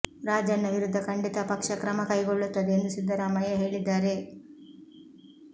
ರಾಜಣ್ಣ ವಿರುದ್ಧ ಖಂಡಿತ ಪಕ್ಷ ಕ್ರಮ ಕೈಗೊಳ್ಳುತ್ತದೆ ಎಂದು ಸಿದ್ದರಾಮಯ್ಯ ಹೇಳಿದ್ದಾರೆ